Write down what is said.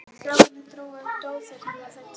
Strákarnir drógu upp dósir sem þeir töluðu í.